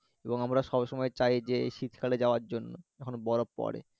এবং আমরা সবসময় চাই যে এই শীতকালে যাওয়ার জন্য যখন পরে